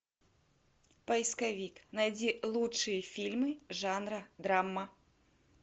поисковик найди лучшие фильмы жанра драма